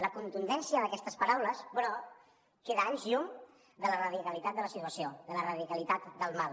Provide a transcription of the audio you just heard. la contundència d’aquestes paraules però queda a anys llum de la radicalitat de la situació de la radicalitat del mal